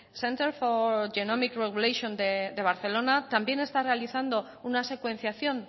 el centro for genomic regulation de barcelona también está realizando una secuenciación